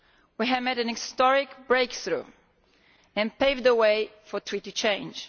We have made an historic breakthrough and have paved the way for treaty change.